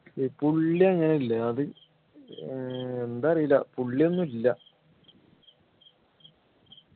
ഈ പുള്ളി അങ്ങനെ ഇല്ല അത് ഏർ എന്താ അറിയില്ല പുള്ളി ഒന്നുമില്ല